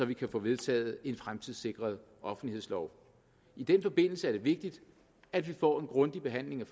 vi kan få vedtaget en fremtidssikret offentlighedslov i den forbindelse er det vigtigt at vi får en grundig behandling